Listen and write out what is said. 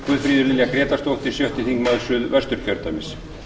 guðfríður lilja grétarsdóttir sjötti þingmaður suðvesturkjördæmis